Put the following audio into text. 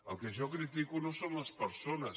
el que jo critico no són les persones